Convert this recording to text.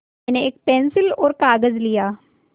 मैंने एक पेन्सिल और कागज़ लिया